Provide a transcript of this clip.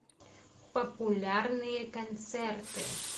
популярные концерты